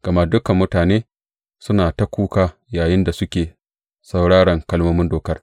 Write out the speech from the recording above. Gama dukan mutane suna ta kuka yayinda suke sauraran kalmomin Dokar.